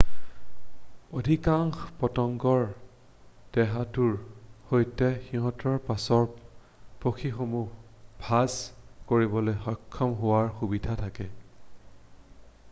অধিকাংশ পতংগৰ দেহটোৰ সৈতে সিঁহতৰ পাছৰ পাখিসমূহ ভাঁজ কৰিবলৈ সক্ষম হোৱাৰ সুবিধা থাকে৷